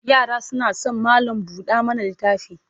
Yara suna son malam-buɗa-mana-littafi.